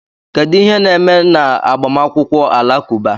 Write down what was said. Kedu ihe na-eme n'agbamakwụkwọ Alakụba?